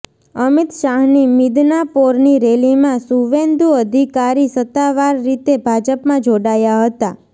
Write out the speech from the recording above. અમિત શાહની મિદનાપોરની રેલીમાં શુવેન્દુ અધિકારી સત્તાવાર રીતે ભાજપમાં જોડાયા હતા